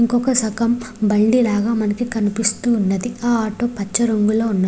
ఇంకొక సగం బండి లాగా మనకి కనిపిస్తూ ఉన్నది ఆ ఆటో పచ్చ రంగులోఉన్నది.